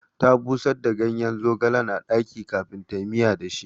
Ta busar da gayen zogalen a ɗaki kafin tayi miya da shi